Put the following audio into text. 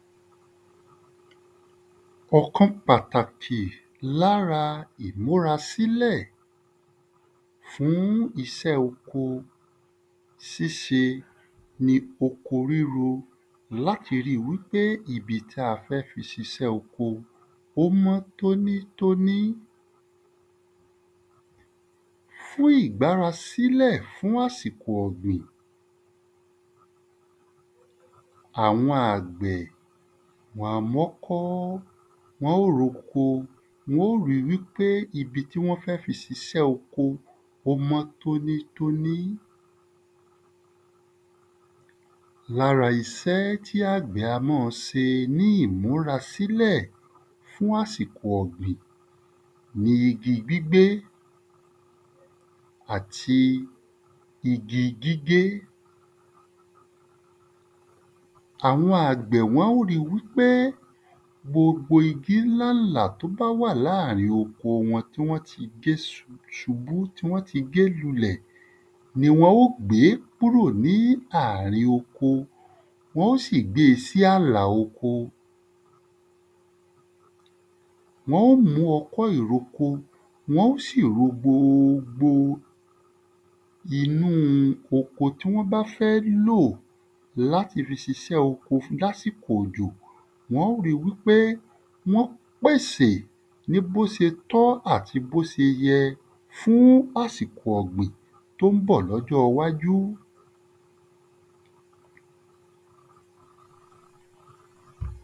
Ǹkan pàtàkì l’ára ìmúrasílẹ̀ fún isẹ́ oko síse ni oko ríro l’áti ri wí pé ibi tá a fẹ́ fi sisẹ́ oko ó mọ́ tónítóní fún ìgbárasílẹ̀ fún àsìko ọ̀gbìn Àwọn àgbẹ̀ wọn a m’ọ́kọ́. Wọ́n ó r’oko. Wọ́n ó ri wí pé ibi tí wọ́n fẹ́ fi sisẹ́ oko ó mọ́ tónítóní. L’ára isẹ́ tí àgbẹ̀ a má a se ní ìmúrasílẹ̀ fún àsìkò ọ̀gbìn ni igi gbígbé àti igi gígé. Àwọn àgbẹ̀ wọ́n ó ri wí pé gbogbo igi ńlálà t’ó wà láàrin oko wọn tí wọ́n ti gé ṣubú tí wọ́n ti gé lulẹ̀ ni wọn ó gbé kúrò ní àrin oko wọ́n ó sì gbe sí àlà oko Wọ́n ó mú ọkọ́ ìroko, wọ́n ó sì ro gbogbo inú u oko tí wọ́n bá fẹ́ lò l’áti fi sisẹ́ oko l’ásìkò òjò. Wọn ó ri wí pé, wọ́n pèsè ní bósetọ́ àti bóse yẹ fún àsìkò ọ̀gbìn t’ó ń bọ̀ l’ọ́jọ́ ‘wájú.